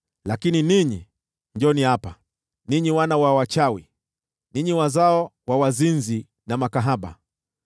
“Lakini ninyi: Njooni hapa, ninyi wana wa wachawi, ninyi wazao wa wazinzi na makahaba!